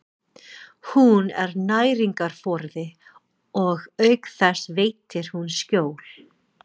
Hún er næringarforði og auk þess veitir hún skjól.